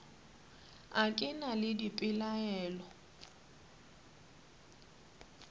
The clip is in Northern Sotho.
a ke na le dipelaelo